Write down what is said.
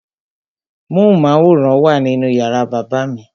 Móhùnmáwòrán wà nínú yàrá bàbá mi.